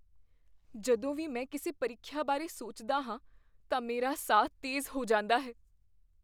ਜਦੋਂ ਵੀ ਮੈਂ ਕਿਸੇ ਪ੍ਰੀਖਿਆ ਬਾਰੇ ਸੋਚਦਾ ਹਾਂ ਤਾਂ ਮੇਰਾ ਸਾਹ ਤੇਜ਼ ਹੋ ਜਾਂਦਾ ਹੈ।